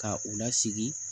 Ka u lasigi